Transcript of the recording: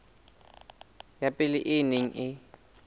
ya pele e neng e